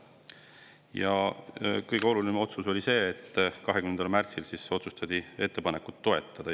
Ja kõige olulisem otsus 20. märtsil oli see, et otsustati ettepanekut toetada.